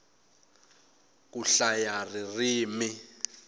ku hlaya ririmi